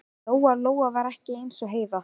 Lóa-Lóa var ekki eins og Heiða